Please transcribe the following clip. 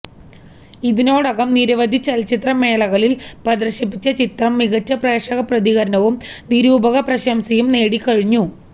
ഇതിനോടകം നിരവധി ചലച്ചിത്ര മേളകളില് പ്രദര്ശിപ്പിച്ച ചിത്രം മികച്ച പ്രേക്ഷക പ്രതികരണവും നിരൂപക പ്രശംസയും നേടിക്കഴിഞ്ഞു